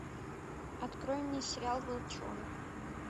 открой мне сериал волчонок